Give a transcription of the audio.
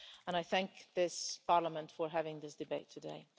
I thank this Parliament for having this debate today.